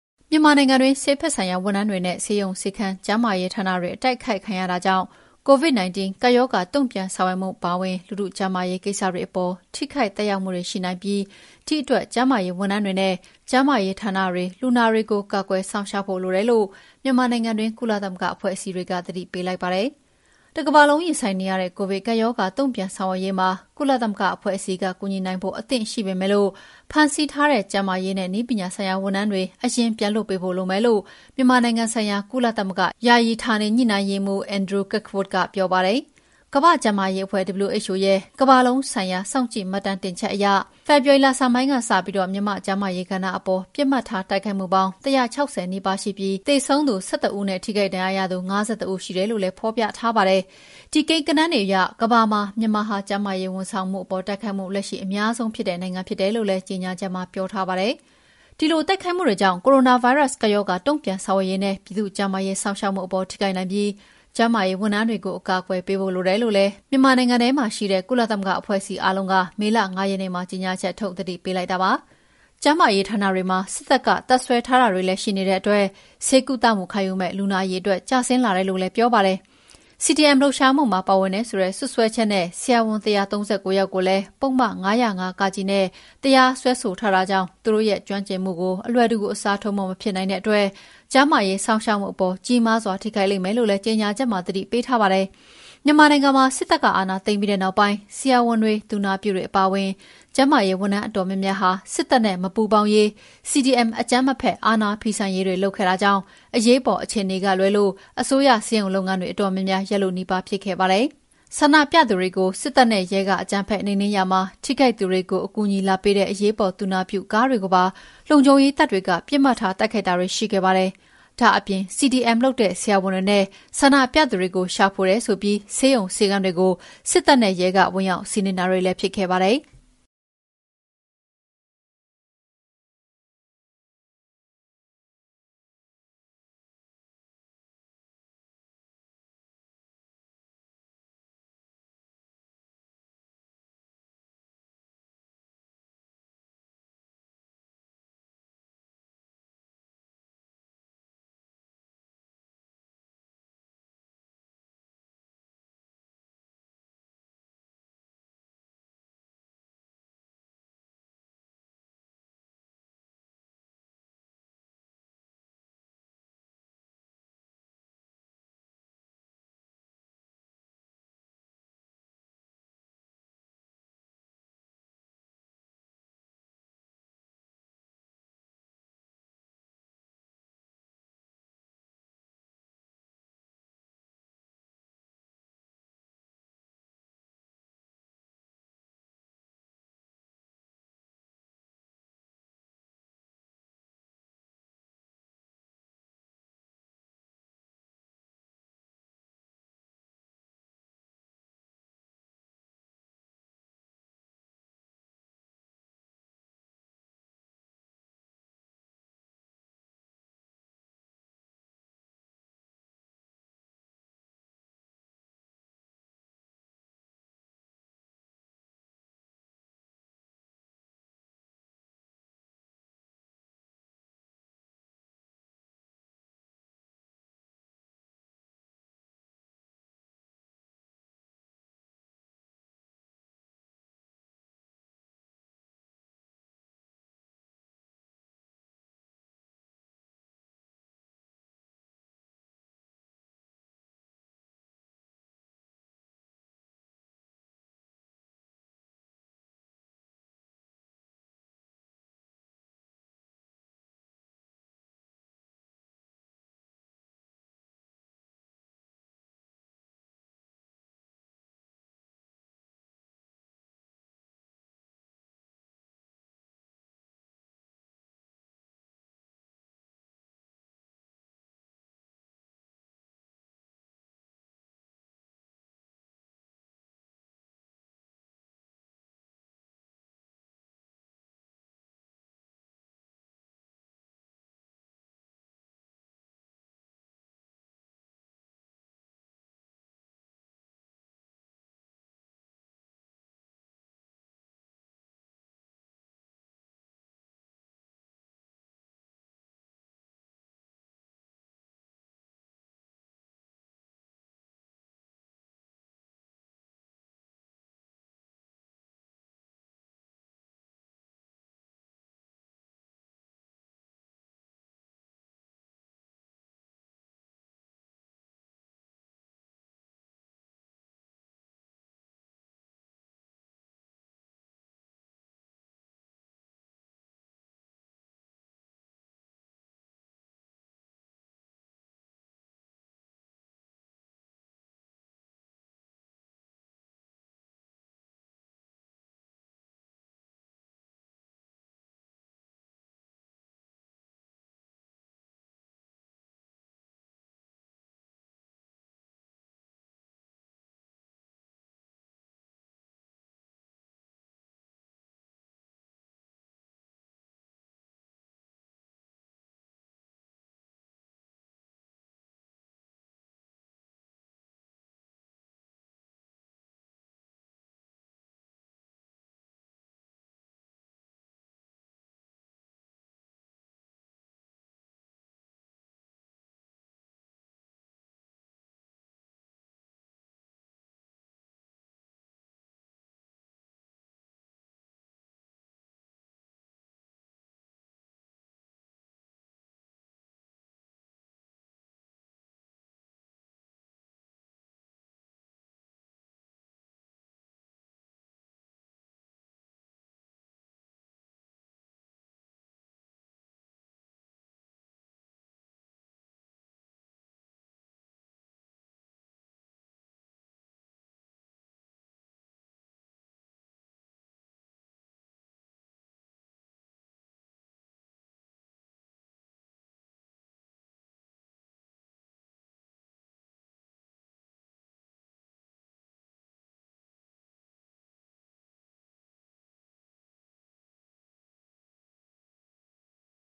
မြန်မာနိုင်ငံတွင်း ဆေးဘက်ဆိုင်ရာ ဝန်ထမ်းတွေနဲ့ ဆေးရုံ၊ ဆေးခန်း၊ ကျန်းမာရေးဌာနတွေ အတိုက်အခိုက်ခံရတာတွေကြောင့် COVID 19 ကပ်ရောဂါ တုံ့ပြန်ဆောင်ရွက်မှုအပါအဝင် လူထုကျန်းမာရေးကိစ္စတွေအပေါ် ထိခိုက်သက်ရောက်မှုတွေ ရှိနိုင်ပြီး သည့်အတွက် ကျန်းမာရေးဝန်ထမ်းတွေနဲ့ ကျန်းမာရေးဌာနတွေ လူနာတွေကို ကာကွယ်စောင့်ရှောက်ဖို့လိုတယ်လို့ မြန်မာနိုင်ငံတွင်း ကုလသမဂ္ဂအဖွဲ့အစည်းက သတိပေးလိုက်ပါတယ်။ တကမ္ဘာလုံးရင်ဆိုင်နေရတဲ့ ကိုဗစ်ကပ်ရောဂါ တုံ့ပြန်ဆောင်ရွက်ရေးမှာ ကုလသမဂ္ဂအဖွဲ့အစည်းက ကူညီနိုင်ဖို့အသင့်ရှိပေမဲ့ ဖမ်းဆီးထားတဲ့ ကျန်းမာရေးနဲ့ နည်းပညာဆိုင်ရာဝန်ထမ်းတွေ အရင်ပြန်လွှတ်ပေးဖို့ လိုမယ်လို့ မြန်မာနိုင်ငံဆိုင်ရာ ကုလသမဂ္ဂ ယာယီဌာနေညှိနှိုင်းရေးမှူး Andrew Kirkwood ပြောပါတယ်။ ကမ္ဘာ့ကျန်းမာရေးအဖွဲ့ WHO ရဲ့ ကမ္ဘာလုံးဆိုင်ရာ စောင့်ကြည့်မှတ်တမ်းတင်ချက်အရ ဖေဖော်ဝါရီလဆန်းပိုင်းကစပြီး မြန်မာ့ကျန်းမာရေးကဏ္ဍအပေါ် ပစ်မှတ်ထားတိုက်ခိုက်မှုပေါင်း ၁၆၀ နီးပါးရှိပြီး သေဆုံးသူ ၁၁ ဦးနဲ့ ထိခိုက်ဒဏ်ရာရသူ ၅၁ ဦးရှိတယ်လို့လည်း ဖော်ပြထားပါတယ်။ ဒီကိန်းဂဏန်းတွေအရ ကမ္ဘာမှာ မြန်မာဟာ ကျန်းမာရေးဝန်ဆောင်မှုအပေါ် တိုက်ခိုက်မှု လက်ရှိအများဆုံးဖြစ်တဲ့နိုင်ငံ ဖြစ်တယ်လို့လည်း ကြေငြာချက်မှာပြောထားပါတယ်။ ဒီလို တိုက်ခိုက်မှုတွေကြောင့် ကိုရိုနာဗိုင်းရပ်စ် ကပ်ရောဂါတုံ့ပြန်ဆောင်ရွက်ရေးနဲ့ ပြည်သူ့ကျန်းမာရေးစောင့်ရှောက်မှုအပေါ် ထိခိုက်နိုင်ပြီး ကျန်းမာရေးဝန်ထမ်းတွေကို အကာအကွယ်ပေးဖို့ လိုတယ်လို့လည်း မြန်မာနိုင်ငံထဲမှာရှိတဲ့ ကုလသမဂ္ဂအဖွဲ့အစည်းအားလုံးက မေလ ၅ ရက်နေ့မှာကြေငြာချက်ထုတ်ပြီး သတိပေးလိုက်တာပါ။ ကျန်းမာရေးဌာနတွေမှာ စစ်တပ်က တပ်စွဲထားတာတွေ ရှိတဲ့တွက် ဆေးကုခံမယ်လူနာအရေအတွက်တွေ ကျဆင်းလာတယ်လို့လည်း ပြောပါတယ်။ CDM လှုပ်ရှားမှုမှာ ပါဝင်တယ်ဆိုတဲ့စွပ်စွဲချက်နဲ့ ဆရာဝန် ၁၃၉ ယောက်ကိုလည်း ပုဒ်မ ၅၀၅ (က)နဲ့ တရားစွဲဆိုထားတဲ့အတွက် သူတို့ရဲ့ ကျွမ်းကျင်မှုကို အလွယ်တကူ အစားထိုးဖို့ မဖြစ်နိုင်တာကြောင့် ကျန်းမာရေးစောင့်ရှောက်မှုအပေါ် ကြီးမားစွာ ထိခိုက်လိမ့်မယ်လို့လည်း ကြေငြာချက်မှာ သတိပေးထားပါတယ်။ မြန်မာနိုင်ငံမှာ စစ်တပ်က အာဏာသိမ်းပြီးနောက်ပိုင်း ဆရာဝန်တွေ သူနာပြုတွေအပါအဝင် ကျန်းမာရေးဝန်ထမ်းအတော်များများဟာ စစ်တပ်နဲ့ မပူးပေါင်းရေး CDM အကြမ်းမဖက်အာဏာဖီဆန်ရေးတွေ လုပ်ခဲ့တာကြောင့် အရေးပေါ်အခြေအနေကလွဲ အစိုးရဆေးရုံလုပ်ငန်းတွေအတော်များများ ရပ်လုနီးပါးဖြစ်ခဲ့ပါတယ်။ ဆန္ဒပြသူတွေကို စစ်တပ်နဲ့ရဲ အကြမ်းဖက်နှိမ်နင်းရာမှာ ထိခိုက်သူတွေကို အကူအညီလာပေးတဲ့ အရေးပေါ်သူနာပြုကားတွေကိုပါ လုံခြုံရေးတပ်တွေက ပစ်မှတ်ထားတိုက်ခိုက်တာတွေ ရှိခဲ့ပါတယ်။ ဒါ့အပြင် CDM လုပ်တဲ့ ဆရာဝန်တွေနဲ့ ဆန္ဒပြသူတွေကို ရှာဖွေတယ်ဆိုပြီး ဆေးရုံဆေးခန်းတွေကို စစ်တပ်နဲ့ ရဲ ဝင်ရောက်စီးနင်းတာတွေလည်းဖြစ်ခဲ့ပါတယ်။